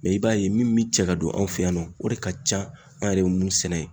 Mɛ i b'a ye min bɛ cɛ ka don an fɛ yan nɔ , o de ka ca anw yɛrɛ bɛ mun sɛnɛ ye.